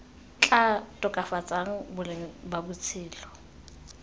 tla tokafatsang boleng ba botshelo